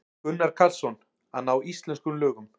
Gunnar Karlsson: Að ná íslenskum lögum.